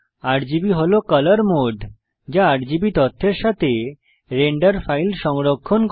RGB হল colour mode যা RGB তথ্যের সাথে রেন্ডার ফাইল সংরক্ষণ করে